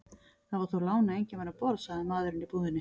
Það var þó lán að enginn var um borð, sagði maðurinn í búðinni.